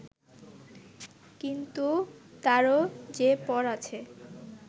কিন্তু তারও যে পর আছে